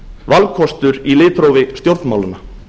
valkostur í litrófi stjórnmálanna